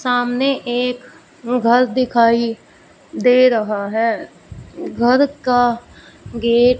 सामने एक घर दिखाइ दे रहा है घर का गेट --